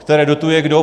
Které dotuje kdo?